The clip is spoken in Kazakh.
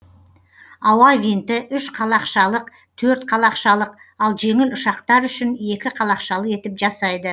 ауа винті үш қалақшалық төрт қалақшалық ал жеңіл ұшақтар үшін екі қалақшалы етіп жасайды